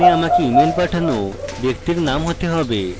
এখানে আমাকে email পাঠানো ব্যক্তির name হতে হবে